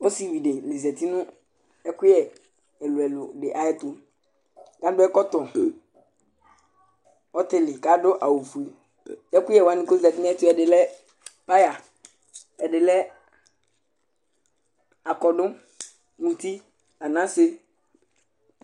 Ɔsìví di zɛti ɛkʋyɛ ɛlʋ ɛlʋ ɛlʋ di ayʋ ɛtu Adu ɛkɔtɔ ɔtili kʋ adu awu fʋe Ɛkʋyɛ wani kʋ zɛti nʋ ayɛtʋ yɛ ɛdí lɛ pear, ɛdí lɛ akɔdu, ntí, anase